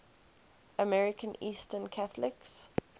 american eastern catholics